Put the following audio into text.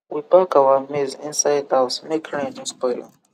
we pack our maize inside house make rain no spoil am